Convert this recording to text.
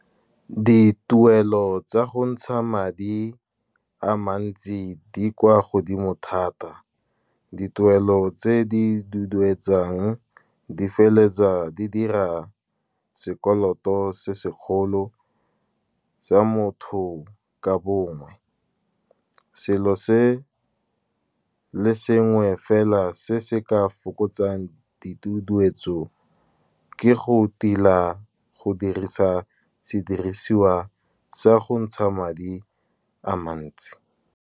Dituelo tsa go ntsha madi a mantsi di kwa godimo thata. Dituelo tse di duduetsang di feleletsa di dira sekoloto se segolo, sa motho ka bongwe. Selo se le sengwe fela se se ka fokotsang diduduetso, ke go tila go dirisa sedirisiwa sa go ntsha madi a mantsi.